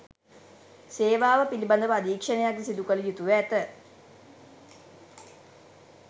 සේවාව පිළිබඳව අධීක්ෂණයක්ද සිදුකළ යුතුව ඇත